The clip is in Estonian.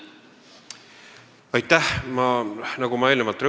Aitäh!